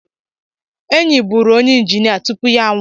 Enyi bụụrụ onye injinia tupu ya anwụọ